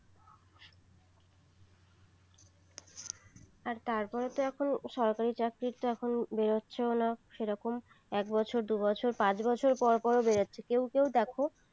আর তারপর তো এখন সরকারি চাকরি তো এখন বের হচ্ছে ও না সেরকম এক বছর দু বছর পাঁচ বছর পর পর বেরোচ্ছে কেউ কেউ দেখো